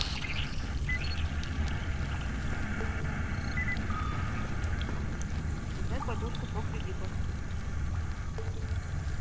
узнать платёжку по кредиту